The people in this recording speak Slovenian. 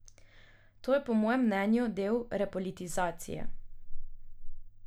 To je po mojem mnenju del repolitizacije.